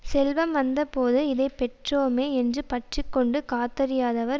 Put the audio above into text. செல்வம் வந்த போது இதைப்பெற்றோமே என்று பற்று கொண்டு காத்தறியாதவர்